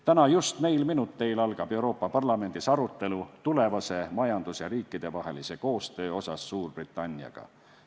Täna, just neil minuteil algab Euroopa Parlamendis arutelu tulevase majandus- ja riikidevahelise koostöö üle Suurbritanniaga.